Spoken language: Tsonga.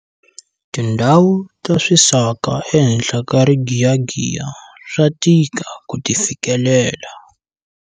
Tindhawu ta swisaka ehenhla ka rigiyagiya swa tika ku ti fikelela.